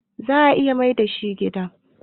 za a iya Maida shi gida.?